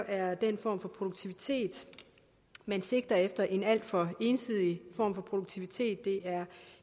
at den form for produktivitet man sigter efter en alt for ensidig form for produktivitet det er